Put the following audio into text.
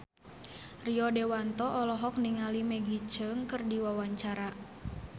Rio Dewanto olohok ningali Maggie Cheung keur diwawancara